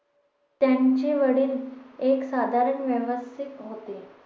त्यांचे वडील एक साधारण होते